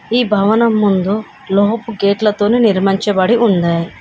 ఈ భవనం ముందు లోహపు గేట్లతోనే నిర్మించబడి ఉన్నాయి.